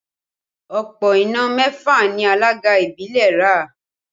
Òpó iná mẹ́fà ni alága ìbílẹ̀ ra